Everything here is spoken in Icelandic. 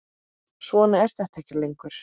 Svona er þetta ekki lengur.